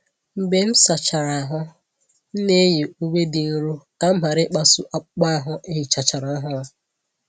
Mgbe m sachara ahụ́, m na-eyi uwe dị nro ka m ghara ịkpasu akpụkpọ ahụ e hichachara ọhụrụ.